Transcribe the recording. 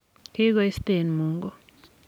kikoisten Mungu.